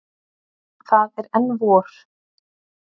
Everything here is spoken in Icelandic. Það er enn vor.